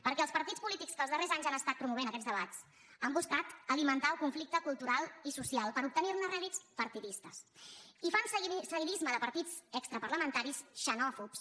perquè els partits polítics que els darrers anys han promogut aquests debats han buscat alimentar el conflicte cultural i social per obtenir ne rèdits partidistes i fan seguidisme de partits extraparlamentaris xenòfobs